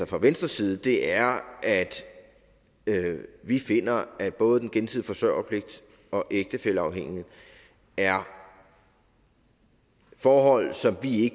fra venstres side er at vi finder at både den gensidige forsørgerpligt og ægtefælleafhængigheden er forhold som vi